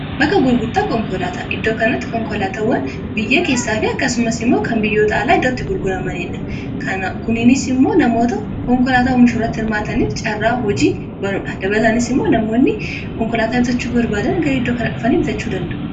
bakka gurgurtaa konkolaataa iddoo kanatti konkolaatawwan biyya keessaafi akkasumas immoo kan biyyoota alaa iddootti gurguramaniidha kuniinis immoo namoota konkolaataa oomishuu irratti hirmaataniif caarraa hojii banuudha dabataanis immoo namoonni konkolaataa bitachuu barbaadan iddoo kana dhufan ibitachuu danda'u